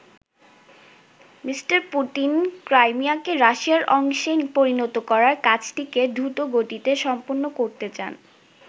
Me. Putin ক্রাইমিয়াকে রাশিয়ার অংশে পরিণত করার কাজটিকে দ্রুতগতিতে সম্পন্ন করতে চান।